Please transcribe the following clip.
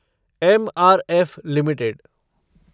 MRF limited